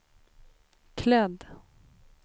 klädd